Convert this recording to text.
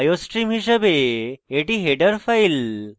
iostream হিসাবে এটি header file